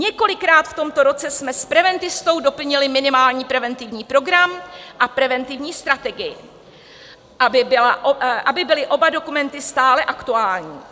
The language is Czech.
Několikrát v tomto roce jsme s preventistou doplnili minimální preventivní program a preventivní strategii, aby byly oba dokumenty stále aktuální.